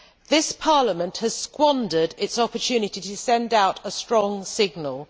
This Parliament has squandered its opportunity to send out a strong signal.